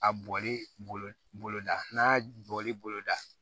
A bɔli boloda n'a bɔli boloda